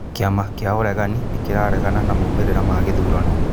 Kĩama kĩa ũregani nĩ kĩraregana na maumĩrĩra ma ithurano